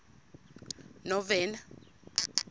novena